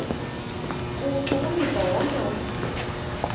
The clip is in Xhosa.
kuwuchukumisa wonke umzimba